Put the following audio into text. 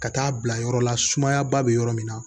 Ka taa bila yɔrɔ la sumaya ba bɛ yɔrɔ min na